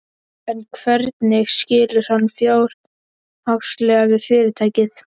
En hvernig skilur hann fjárhagslega við fyrirtækið?